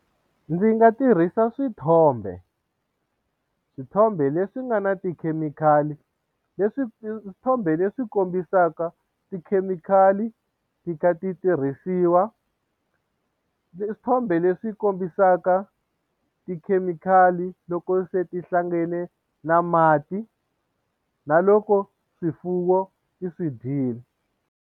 Ndzi nga tirhisa swithombe swithombe leswi nga na tikhemikhali leswi swithombe leswi kombisaka tikhemikhali ti kha ti tirhisiwa swithombe leswi kombisaka tikhemikhali loko se ti hlangane na mati na loko swifuwo ti swi dyile.